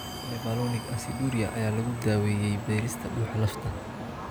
Mevalonic aciduria ayaa lagu daaweeyay beerista dhuuxa lafta.